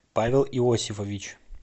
павел иосифович